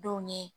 Denw ye